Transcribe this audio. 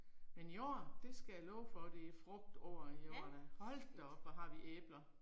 Men i år, det skal jeg love for det er frugtår i år da, hold da op hvor har vi æbler